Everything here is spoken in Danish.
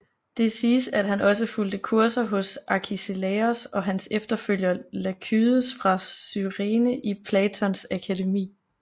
Det siges at han også fulgte kurser hos Arkiselaos og hans efterfølger Lakydes fra Cyrene i Platons akademi